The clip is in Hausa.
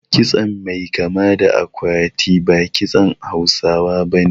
Kitson mai kama da akwati ba kitson Hausawa bane